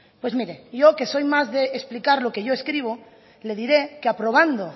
pues mire yo que soy más de explicar lo que yo escribo le diré que aprobando